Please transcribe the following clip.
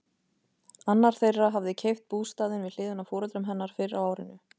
Annar þeirra hafði keypt bústaðinn við hliðina á foreldrum hennar fyrr á árinu.